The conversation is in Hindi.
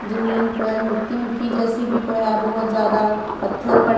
जमीन पर मिट्टी मिट्टी जैसी भी परा बहुत ज्यादा पत्थर पड़--